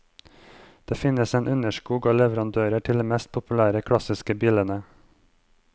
Det finnes en underskog av leverandører til de mest populære klassiske bilene.